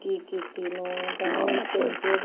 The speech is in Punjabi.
ਨੇਕੀ ਕੀਤੀ ਨੂੰ ਤਾਹੀ